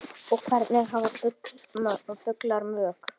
og Hvernig hafa fuglar mök?